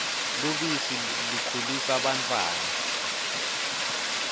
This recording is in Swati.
lubisi likhulisa bantfwana